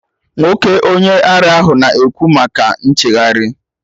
Nwoke onye ara ahụ na-ekwu maka nchegharị